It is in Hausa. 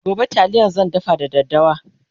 gobe taliya zan dafa da daddawa